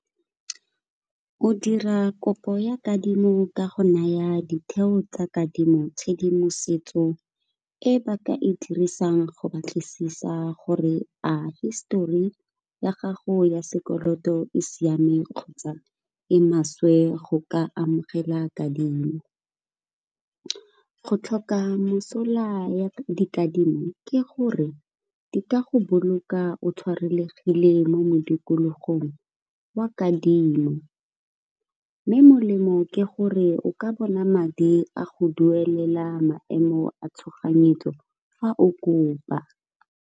O dira kopo ya kadimo ka go naya ditheo tsa kadimo tshedimosetso e ba ka e dirisang, go batlisisa gore a histori ya gago ya sekoloto e siame, kgotsa e maswe go ka amogela kadimo. Go tlhoka mosola ya dikadimo ke gore di ka go boloka o tshwarelegile mo modikologong wa kadimo, mme molemo ke gore o ka bona madi a go duelela maemo a tshoganyetso fa o kopa.